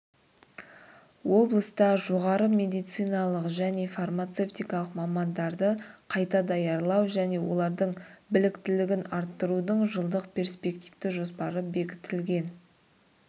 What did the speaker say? облыста жоғары медициналық және фармацевтикалық мамандарды қайта даярлау және олардың біліктілігін арттырудың жылдық перспективті жоспары бекітілген